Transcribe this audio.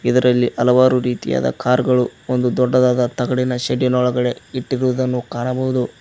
ಇದರಲ್ಲಿ ಹಲವಾರು ರೀತಿಯಾದ ಕಾರು ಗಳು ಒಂದು ದೊಡ್ಡದಾದ ತಗಡಿನ ಶೆಡ್ಡಿ ನೋಳಗಡೆ ಇಟ್ಟಿರುವುದನ್ನು ಕಾಣಬಹುದು.